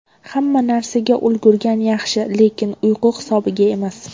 Hamma narsaga ulgurgan yaxshi, lekin uyqu hisobiga emas.